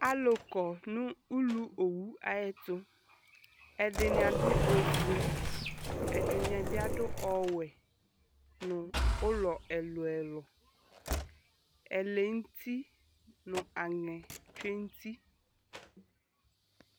Alʋ kɔ nʋ uluowu ayɛtʋ Ɛdɩnɩ adʋ ofue, ɛdɩnɩ bɩ adʋ ɔwɛ nʋ ʋlɔ ɛlʋ-ɛlʋ Ɛlɛnʋti nʋ aŋɛ tsue nʋ uti